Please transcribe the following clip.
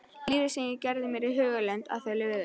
Lífið sem ég gerði mér í hugarlund að þau lifðu.